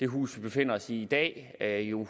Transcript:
hus vi befinder os i i dag jo